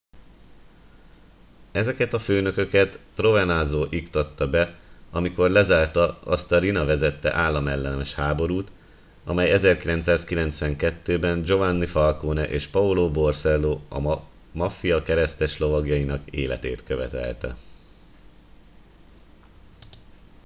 ezeket a főnököket provenanzo iktatta be amikor lezárta azt a riina vezette államellenes háborút amely 1992 ben giovanni falcone és paolo borsello a maffia kereszteslovagjainak életét követelte